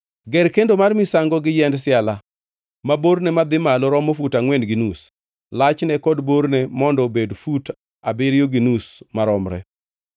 “Ger kendo mar misango gi yiend siala, ma borne madhi malo romo fut angʼwen gi nus, lachne kod borne mondo obed fut abiriyo gi nus maromre.